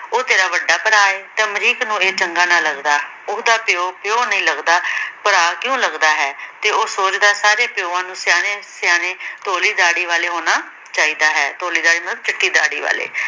ਉਹ ਤੇਰਾ ਵੱਡਾ ਭਰਾ ਐ? ਤਾਂ ਅਮਰੀਕ ਨੂੰ ਇਹ ਚੰਗਾ ਨਾ ਲੱਗਦਾ। ਓਹਦਾ ਪਿਉ, ਪਿਉ ਨਹੀਂ ਲੱਗਦਾ ਭਰਾ ਕਿਊ ਲੱਗਦਾ ਹੈ? ਤੇ ਉਹ ਸੋਚਦਾ ਸਾਰੇ ਪਿਉਆਂ ਨੂੰ ਸਿਆਣੇ-ਸਿਆਣੇ ਧੋਲੇ ਦਾੜੀ ਵਾਲੇ ਹੋਣਾ ਚਾਹੀਦਾ ਐ। ਧੋਲੇ ਦਾੜੀ ਮਤਲਬ ਚਿੱਟੀ ਦਾੜੀ ਵਾਲੇ